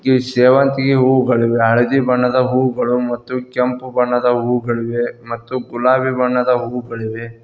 E ಸೇವಂತಿಗೆ ಹೂಗಳಿವೆ ಹಳದಿ ಬಣ್ಣದ ಹೂಗಳು ಮತ್ತು ಕೆಂಪು ಬಣ್ಣದ ಹೂಗಳಿವೆ ಮತ್ತು ಗುಲಾಬಿ ಬಣ್ಣದ ಹೂಗಳಿವೆ.